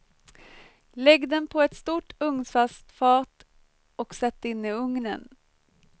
Lägg den på ett stort ugnsfast fat och sätt in i ugnen.